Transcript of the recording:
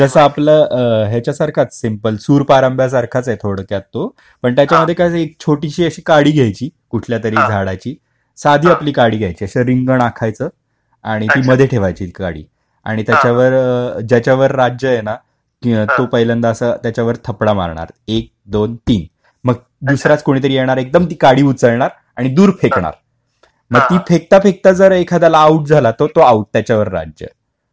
जसा आपला याच्या सारखाच सिम्पल सूर पारंब्या सारखाच आहे थोडक्यात तो पण त्याच्यामध्ये काय एक अशी छोटीशी काडी घ्यायची कुठल्यातरी झाडाची साधी आपली काडी घ्यायची आणि अस रिंगण आखायचे आणि ती मध्ये ठेवायची ती काडी आणि त्याच्यावर ज्याच्यावर राज्य आहे ना तो पहिल्यांद असं त्यांच्यावर थपडा मारणार एक-दोन-तीन आणि मग दुसरा कोणीतरी येणार एकदम ती काडी उचलणार आणि दूर फेकणार ती फेकता फेकता जर एखादा आऊट झाला तर तो आऊट त्याच्यावर राज्य.